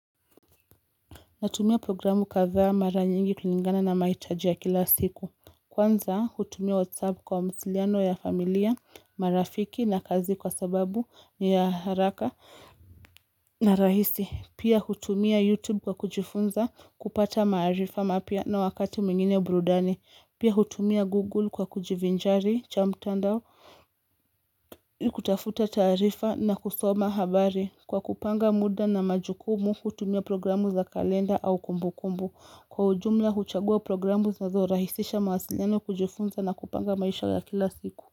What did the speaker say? Natumia programu katha mara nyingi kulingana na mahitajia ya kila siku. Kwanza hutumia whatsapp kwa mawasiliano ya familia, marafiki na kazi kwa sababu ni ya haraka na rahisi. Pia hutumia youtube kwa kujifunza kupata maarifa mapya na wakati mwingine brudani. Pia hutumia google kwa kujivinjari cha mtandao kutafuta tarifa na kusoma habari. Kwa kupanga muda na majukumu hutumia programu za kalenda au kumbu kumbu. Kwa ujumla huchagua programu zinazo rahisisha mawasiliano kujifunza na kupanga maisha ya kila siku.